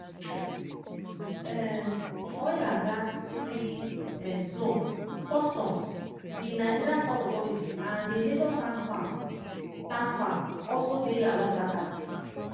um di oil and gas free um zone customs di nigerian ports authority and a major tank farm tank farm also dey along dat axis.